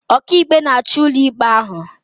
Ọkàikpe na-achị ụlọikpe ahụ